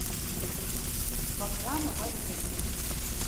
ваграму валерьевичу